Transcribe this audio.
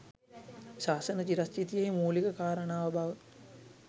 ශාසන චිරස්ථිතියෙහි මූලික කාරණාව බව